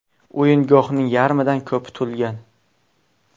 O‘yingohning yarmidan ko‘pi to‘lgan.